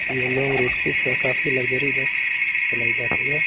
Root की काफी luxury bus चलाई जाती है।